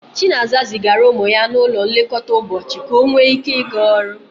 Chinaza zigara ụmụ ya n'ụlọ nlekọta ụbọchị ka ọ nwee ike ịga ọrụ.